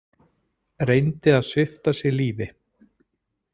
Reyndi að svipta sig lífi